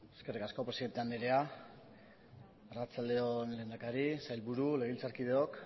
eskerrik asko presidente andrea arratsalde on lehendakari sailburu legebiltzarkideok